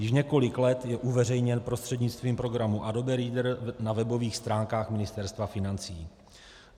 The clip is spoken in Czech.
Již několik let je uveřejněn prostřednictvím programu Adobe Reader na webových stránkách Ministerstva financí.